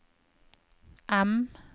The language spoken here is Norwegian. M